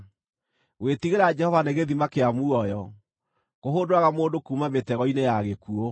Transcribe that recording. Gwĩtigĩra Jehova nĩ gĩthima kĩa muoyo, kũhũndũraga mũndũ kuuma mĩtego-inĩ ya gĩkuũ.